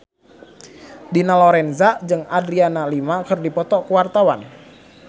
Dina Lorenza jeung Adriana Lima keur dipoto ku wartawan